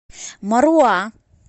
маруа